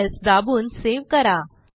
Ctrl S दाबून save करा